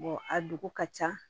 a dugu ka ca